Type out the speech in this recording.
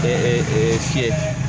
fiyɛ